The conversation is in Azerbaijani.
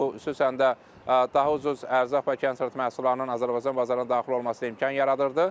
Bu xüsusən də daha ucuz ərzaq və kənd təsərrüfat məhsullarının Azərbaycan bazarına daxil olmasına imkan yaradırdı.